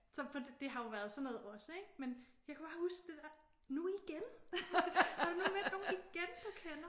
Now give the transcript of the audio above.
Så på den det har jo været sådan noget også ik? Men jeg kan bare huske den der nu igen? Har du nu mødt nogen igen du kender?